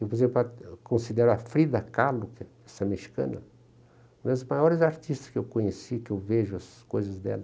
Eu, por exemplo, considero a Frida Kahlo, que é essa mexicana, uma das maiores artistas que eu conheci, que eu vejo as coisas dela.